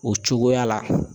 O cogoya la